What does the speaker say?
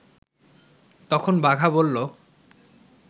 তখন বাঘা বলল